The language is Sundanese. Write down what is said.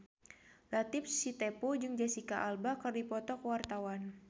Latief Sitepu jeung Jesicca Alba keur dipoto ku wartawan